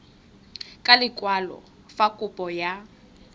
ka lekwalo fa kopo ya